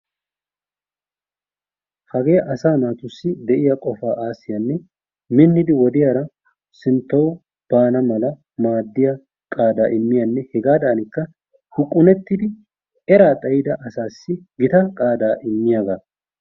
Hagee asaa naatussi de'iyaa qofaa aassiyanne minnidi wodiyara sinttawu baana mala maaddiya qaada immiyanne hegaadanikka huqqunuttidi eraa xayida asaas gita qaadaa immiyaagaa.